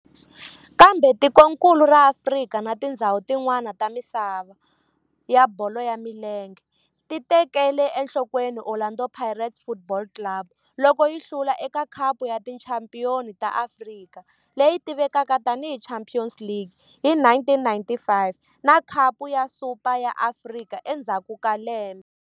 Kambe tikonkulu ra Afrika na tindzhawu tin'wana ta misava ya bolo ya milenge ti tekele enhlokweni Orlando Pirates Football Club loko yi hlula eka Khapu ya Tichampion ta Afrika, leyi tivekaka tani hi Champions League hi 1995 na Khapu ya Super ya Afrika endzhaku ka lembe.